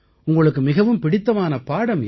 உங்களுக்கு மிகவும் பிடித்தமான பாடம் எது